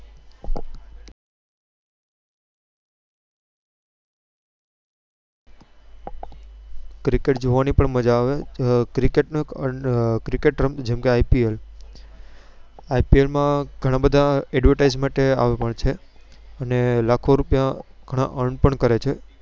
cricket જોવાની પણ મઝા આવે. cricket નો જેમ કે ILP માં ગણા બધા Advertise માટેઆવે છે. અને લાખો રૂપિયા Earn પણ કરે છે.